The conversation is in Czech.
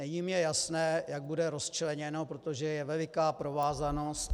Není mi jasné, jak bude rozčleněno, protože je veliká provázanost...